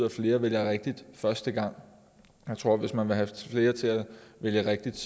at flere vælger rigtigt første gang jeg tror at hvis man vil have flere til at vælge rigtigt